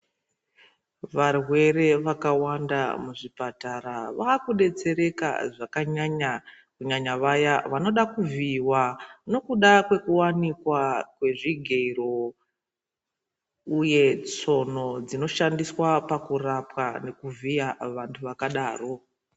Varwere vakawanda muzvipatara vaakudetsereka zvakanyanya kunyanya vaya vanoda kuvhiyiwa nekuda kwekuwanikwa kwezvigero uye tsono dzinoshandiswa pakurapwa nekuvhiya vantu vakadaro.